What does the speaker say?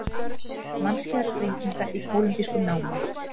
Mannskæðar sprengingar í kólumbískum námum